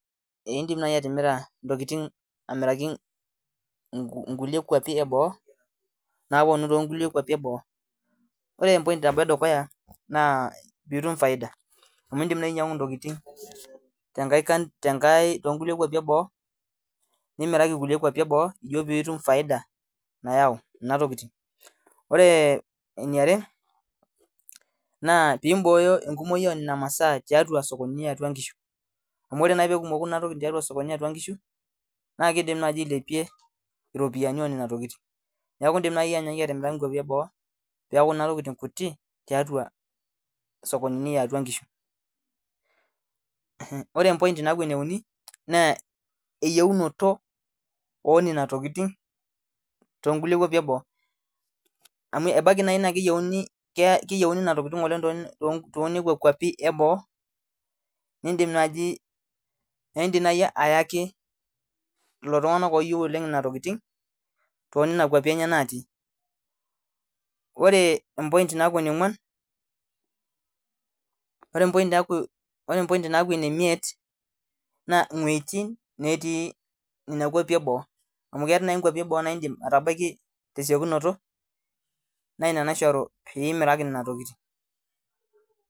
Edim naaji atimira entokitin amiraki enkwapii eboo ore enedukuya naa pitum faida amu edim atimira too nkulie kwapii eboo ijio pee etum faida sidai ore eniare pee eboyo enkumoki enena tokitin too sokoni yatua nkishu amu ore pee kimoku Nena tokitin yatua nkishu ailepie ropiani enana tokitin neeku edim awaa nkwapii eboo pee eku Nena tokitin tiatua sokonini yatua nkishu ore ene uni naa eyieunoto ena tokitin amu ebaiki naa keyieuni Nena tokitin too nkwapii eboo nidim naaji ayaki lelo tung'ana oyieu natii ore enemiet naa wuejitin naati Nena kwapii eboo tesiokinoto naa ena toki naishoru pee emiraki Nena tokitin